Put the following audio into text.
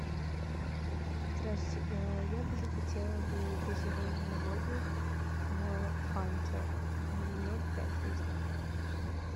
здравствуйте я бы захотела бы газированную воду фанта ноль пять литров